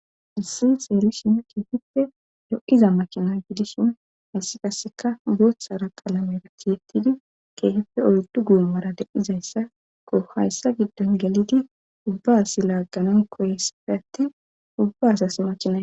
Issi xeerishin kiifippe lo7iza makina gidishin hayssi kasseka boothara qalamera tiyetidi keehepfe oyddu goomara de7izayssako hayssa giddon gelidi ubba asi laagqanaw koyesafe atti ubba as asi laagganaw makinay.